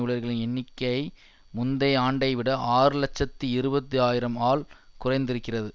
ஊழியர்களின் எண்ணிக்கை முந்தைய ஆண்டைவிட ஆறு இலட்சத்தி இறுபது ஆயிரம் ஆல் குறைந்திருக்கிறது